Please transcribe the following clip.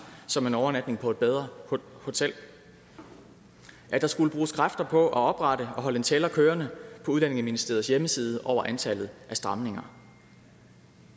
som en overnatning på et bedre hotel og at der skulle bruges kræfter på at oprette og holde en tæller kørende på udlændingeministeriets hjemmeside over antallet af stramninger